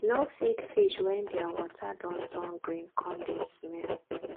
no feed fish wen thier water don turn green come dey smell